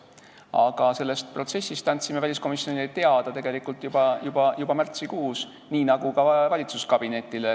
Aga sellest protsessist me andsime väliskomisjonile teada tegelikult juba märtsikuus, nii nagu ka valitsuskabinetile.